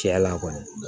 Cɛla kɔni